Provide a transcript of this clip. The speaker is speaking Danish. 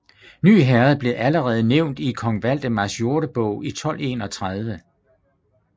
Ny Herred blev allerede nævnt i kong Valdemars Jordebog i 1231